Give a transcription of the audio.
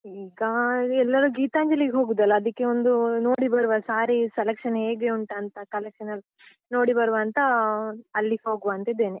ಈಗಾ, ಎಲ್ಲರೂ ಗೀತಾಂಜಲಿಗ್ ಹೋಗುದಲ್ಲ ಅದಿಕ್ಕೆ ಒಂದು ನೋಡಿ ಬರುವ saree selection ಹೇಗೆ ಉಂಟಂತ, collection ಎಲ್ಲಾ ನೋಡಿ ಬರುವಂತಾ, ಅಲ್ಲಿ ಹೋಗುವಾ ಅಂತ ಇದ್ದೇನೆ.